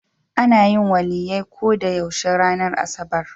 Ana yin Waliyyai ko da yaushe ranar asabar.